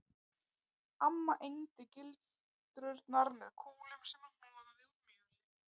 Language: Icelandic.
Amma egndi gildrurnar með kúlum sem hún hnoðaði úr mjöli